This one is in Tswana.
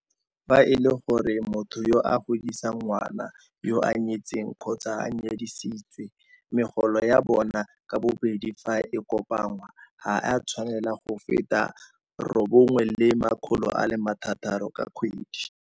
Fa e le gore motho yo a godisang ngwana yoo o nyetse kgotsa o nyadisitswe, megolo ya bona ka bobedi fa e kopanngwa ga e a tshwanela go feta R9 600 ka kgwedi.